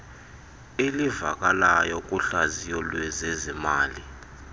elivakalayo kuhlaziyo lwezezimali